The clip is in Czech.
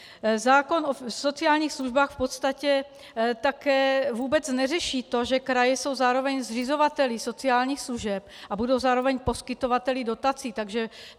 Zákon o sociálních službách v podstatě také vůbec neřeší to, že kraje jsou zároveň zřizovateli sociálních služeb a budou zároveň poskytovateli dotací.